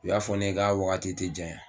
U y'a fɔ ne ye ka wagati te janya